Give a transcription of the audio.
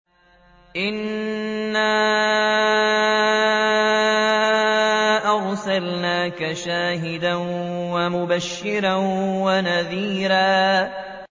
إِنَّا أَرْسَلْنَاكَ شَاهِدًا وَمُبَشِّرًا وَنَذِيرًا